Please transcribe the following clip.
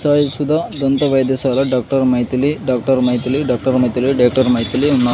సాయి సుధ దంత వైద్యశాల doctor Maithili doctor Maithili doctor Maithili doctor Maithili ఉన్నా.